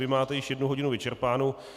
Vy máte již jednu hodinu vyčerpánu.